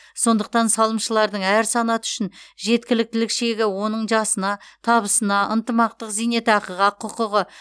сондықтан салымшылардың әр санаты үшін жеткіліктілік шегі оның жасына табысына ынтымақтық зейнетақыға құқығы